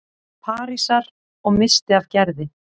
Parísar- og missti af Gerði.